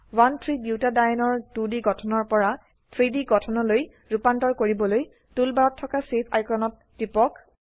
13 বুটাডিয়েনে ৰ 2ডি গঠনৰ পৰা 3ডি গঠনলৈ ৰুপান্তৰ কৰিবলৈ টুলবাৰত থকা চেভ আইকনত টিপক